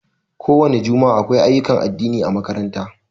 Ko wani jumua'a, akwai ayyukan addini ã makaranta.